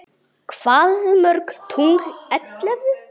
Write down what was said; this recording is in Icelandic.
Hvað mörg tungl ellefu?